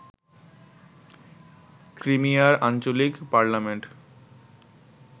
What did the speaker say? ক্রিমিয়ার আঞ্চলিক পার্লামেন্ট